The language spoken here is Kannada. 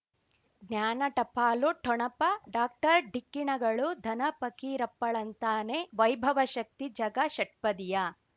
ಜ್ಞಾನ ಟಪಾಲು ಠೊಣಪ ಡಾಕ್ಟರ್ ಢಿಕ್ಕಿ ಣಗಳು ಧನ ಫಕೀರಪ್ಪ ಳಂತಾನೆ ವೈಭವ ಶಕ್ತಿ ಝಗಾ ಷಟ್ಪದಿಯ